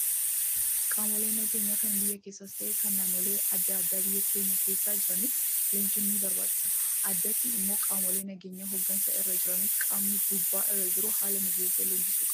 Qaamolee nageenyaa kan biyya keenyaas ta'ee kan naannolee adda addaa biyya keenya keessa jiraniif leenjiin ni barbaachisa. Addatti immoo qaamolee nageenyaa hooggansa irra jiraniif qaamni gubbaa jiru haala mijeessee leenjisuu qaba.